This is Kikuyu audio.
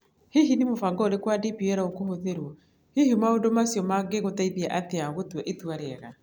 Hihi nĩ mũbango ũrĩkũ wa DPL ũgũthuurũo? Hihi maũndũ macio mangĩgũteithia atĩa gũtua itua rĩega?